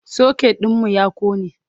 socket ɗinmu ya ƙone